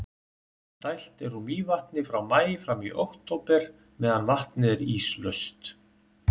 dælt er úr mývatni frá maí fram í október meðan vatnið er íslaust